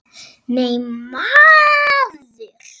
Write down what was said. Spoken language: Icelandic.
Nei, maður!